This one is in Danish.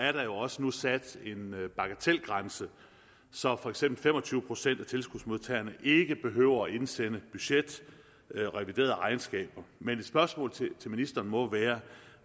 er der jo også nu sat en bagatelgrænse så for eksempel fem og tyve procent af tilskudsmodtagerne ikke behøver at indsende budget og revideret regnskab men et spørgsmål til ministeren må